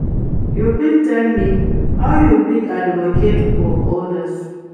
You fit tell me how you fit advocate for odas?